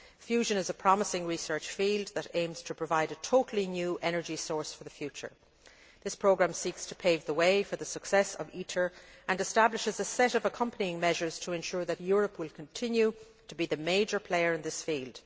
Fusion is a promising research field that aims to provide a totally new energy source for the future. This programme seeks to pave the way for the success of ITER and establishes a set of accompanying measures to ensure that Europe will continue to be the major player in this field.